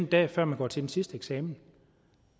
dag før man går til den sidste eksamen